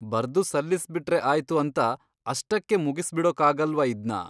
ಬರ್ದು ಸಲ್ಲಿಸ್ಬಿಟ್ರೆ ಆಯ್ತು ಅಂತ ಅಷ್ಟಕ್ಕೇ ಮುಗಿಸ್ಬಿಡೋಕಾಗಲ್ವಾ ಇದ್ನ?